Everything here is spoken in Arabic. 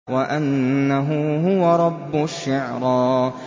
وَأَنَّهُ هُوَ رَبُّ الشِّعْرَىٰ